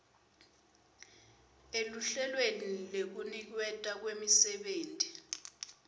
eluhlelweni lwekuniketwa kwemisebenti